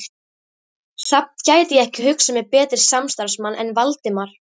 Samt gæti ég ekki hugsað mér betri samstarfsmann en Valdimar